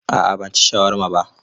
A'a ban ci shawarma ba.